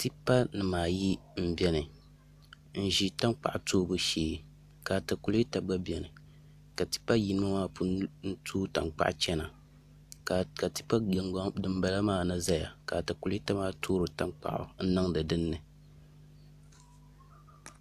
Tipa nimaayi n biɛni n ʒi tankpaɣu toobu shee ka atakulɛta gba biɛni ka tipa yino maa pun tooi tankpaɣu chɛna ka tipa din bala maa na ʒɛya ka atakulɛta maa toori tankpaɣu n niŋdi dinni